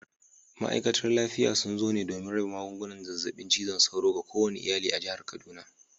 Ma’aikatar lafiya sun zo ne domin raba magungunan zazzabin cizon sauro ga kowane iyali a jihar kaduna.